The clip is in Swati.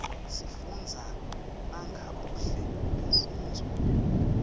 sifunza nangebuhle bemnfundzo